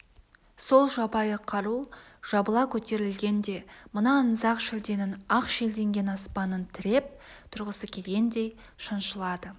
сол жабайы қару жабыла көтерілгенде мына аңызақ шілденің ақ шелденген аспанын тіреп тұрғысы келгендей шаншылады